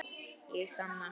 Ég sanna.